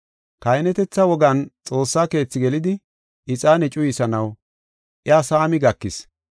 Kahinetetha wogan Xoossa Keethi gelidi ixaane cuyisanaw iya saami gakis.